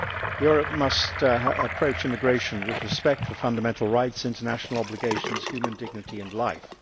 Europe must approach immigration with respect for fundamental rights, international obligations, human dignity and life.